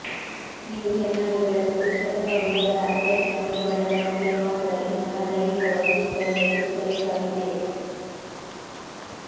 ನೀವು ಚೆನ್ನಾಗಿ ಬೆಳೆದ ಪುರುಷರು ಅಥವಾ ಹುಡುಗರ ಅಥ್ಲೆಟಿಕ್ ಮೈಬಣ್ಣದ ಮಟ್ಟಿಗೆ ಮಾತ್ರ ಇಂತಹ ದೈಹಿಕ ವೈಶಿಷ್ಟ್ಯವನ್ನು ಎದುರಿಸಬೇಕಾಗಿದೆ